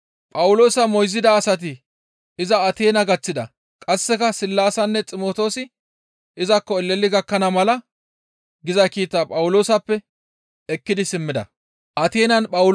Phawuloosa moyzida asati iza Ateena gaththida; qasseka Sillaasinne Ximtoosi izakko eleli gakkana mala giza kiita Phawuloosappe ekkidi simmida.